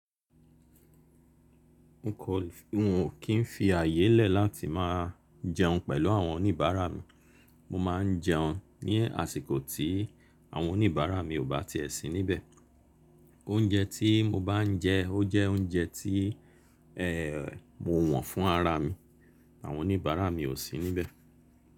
Nko, n ò kí n fi àyè lẹ́ láti má a jẹun pẹ̀lú àwọn oníbàárà mi, mo ma ń jẹun ní àsìkò tí àwọn oníbàárà mi ò bá ti ẹ́ sin níbẹ̀. Oúnjẹ tí mo bá ń jẹ, o jẹ́ oúnjẹ tí mo wọ̀n fún ara mi, àwọn oníbàárà mi ò sí níbẹ̀.